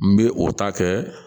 N bɛ o ta kɛ